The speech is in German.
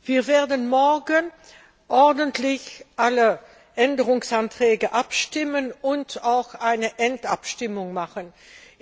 Wir werden morgen über alle Änderungsanträge abstimmen und auch eine Endabstimmung durchführen.